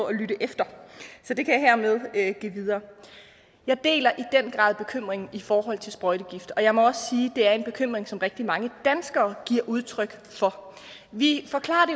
at lytte efter så det kan jeg hermed give videre jeg deler i den grad bekymringen i forhold til sprøjtegifte og jeg må at det er en bekymring som rigtig mange danskere giver udtryk for vi forklarer